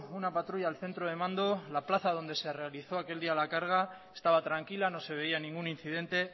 una patrulla al centro de mando la plaza donde se realizó aquel día la carga estaba tranquila no se veía ningún incidente